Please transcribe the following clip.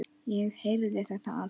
Ég heyrði þetta allt.